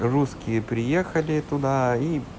русские приехали туда и